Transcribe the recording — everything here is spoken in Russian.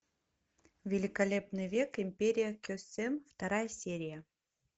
великолепный век империя кесем вторая серия